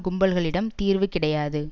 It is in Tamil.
கும்பல்களிடம் தீர்வு கிடையாது